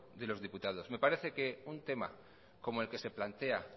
de los diputados me parece que un tema como el que se plantea